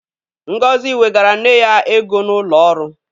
Ngozi wegara nne ya ego n'ụlọ ọrụ.